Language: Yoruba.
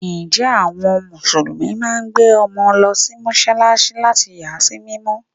Ǹjẹ́ àwọn musulumi náà máa ń gbé ọmọ lọ sí Mọ́sálásí láti yà á sí mímọ́.